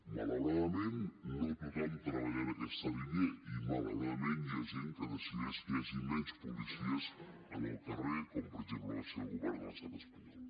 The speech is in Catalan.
malauradament no tothom treballa en aquesta línia i malauradament hi ha gent que decideix que hi hagin menys policies al carrer com per exemple va ser el govern de l’estat espanyol